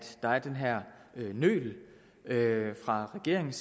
der er den her nølen fra regeringens